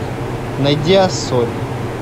найди ассоль